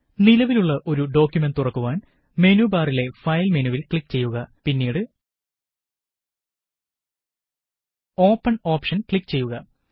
നിലവിലുള്ള ഒരു ഡോക്കുമന്റ് തുറക്കുവാന് മെനുബാറിലെ ഫയല് മെനുവില് ക്ലിക്ക് ചെയ്യുക പിന്നീട് ഓപ്പണ് ഓപ്ഷന് ക്ലിക്ക് ചെയ്യുക